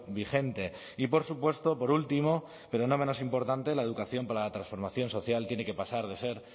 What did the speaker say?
vigente y por supuesto por último pero no menos importante la educación para la transformación social tiene que pasar de ser